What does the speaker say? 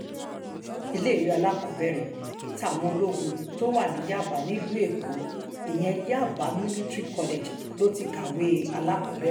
iléèwé alákọ̀ọ́bẹ̀rẹ̀ táwọn ológun tó wà ní yaba nílùú èkó ìyẹn yaba military college ló ti kàwé alákọ̀ọ́bẹ̀rẹ̀